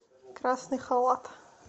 красный халат